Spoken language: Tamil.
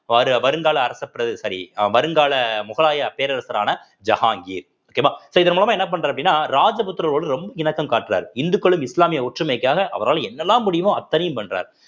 வரு~ வருங்கால அரசப் பிர~ sorry அ வருங்கால முகலாய பேரரசரான ஜஹாங்கீர் okay வா so இதன் மூலமா என்ன பண்றேன் அப்படின்னா ராஜபுத்திரர்களோடு ரொம்ப இணக்கம் காட்டுறாரு இந்துக்களும் இஸ்லாமிய ஒற்றுமைக்காக அவரால என்னெல்லாம் முடியுமோ அத்தனையும் பண்றார்